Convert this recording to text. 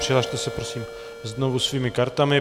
Přihlaste se prosím znovu svými kartami.